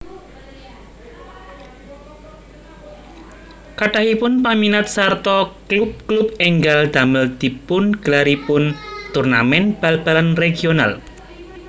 Kathahipun paminat sarta klub klub ènggal damel dipungelaripun turnamèn bal balan regional